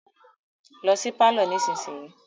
Lọ sí pálọ̀ nísinsìyìí.